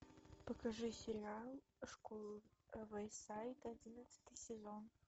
покажи сериал школа вэйсайд одиннадцатый сезон